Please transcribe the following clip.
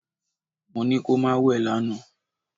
Mo ní kó má wẹ̀ lánàá!